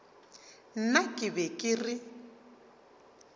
nna ke be ke re